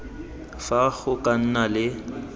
fa go ka nna le